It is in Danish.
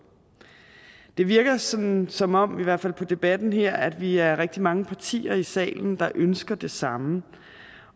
det virker som som om i hvert fald på debatten her at vi er rigtig mange partier i salen der ønsker det samme